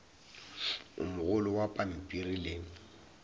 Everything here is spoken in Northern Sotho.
o mogolo wa pampiri le